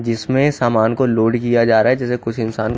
जिसमे सामान को लोड किया जा रहा है जैसे कुछ इन्सान--